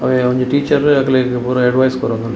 ಅವೆ ಒಂಜಿ ಟೀಚರ್‌ ಅಕ್ಕ್ಲೆಗ್‌ ಪೂರ ಎಡ್ವೈಸ್‌ ಕೊರೋಂದುಲ್ಲೇರ್‌.